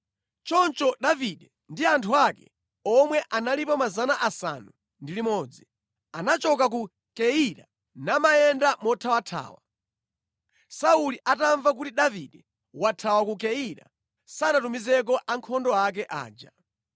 Choncho Davide ndi anthu ake, omwe analipo 600, anachoka ku Keila namayenda mothawathawa. Sauli atamva kuti Davide wathawa ku Keila, sanatumizeko ankhondo ake aja.